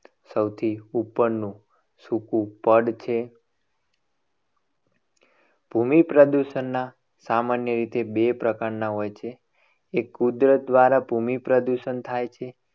સૌથી ઉપરનું સૂકું પડ છે. ભૂમિ પ્રદૂષણના સામાન્ય રીતે બે પ્રકારના હોય છે. એ કુદરત દ્વારા ભૂમિ પ્રદૂષણ થાય છે.